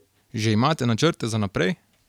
Že imate načrte za naprej?